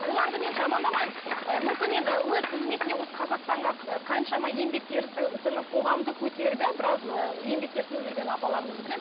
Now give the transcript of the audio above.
оларды мен жамандамаймын ы мүмкін енді өз қызметінде осы қазақстанға қаншама еңбетері сіңіп қоғамды көтеріп иә біраз ы еңбектері сіңіп жүрген апаларымызды білемін